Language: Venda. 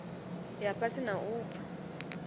ya fhasi na u bva